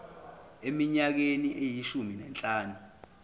eminyakeni eyishumi nanhlanu